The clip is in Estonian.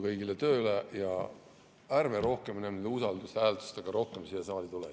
Kõigile jõudu tööle ja ärme rohkem usaldushääletustega siia saali tuleme.